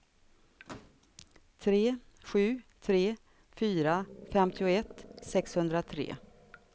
tre sju tre fyra femtioett sexhundratre